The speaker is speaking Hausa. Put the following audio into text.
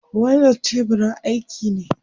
Wannan tebirin aiki ne?